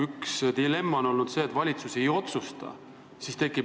Üks dilemma on olnud see, et valitsus ei otsusta, aga peaks otsustama.